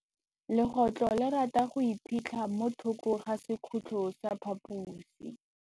Legôtlô le rata go iphitlha mo thokô ga sekhutlo sa phaposi.